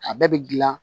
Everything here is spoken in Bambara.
A bɛɛ bɛ gilan